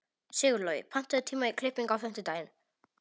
Sigurlogi, pantaðu tíma í klippingu á fimmtudaginn.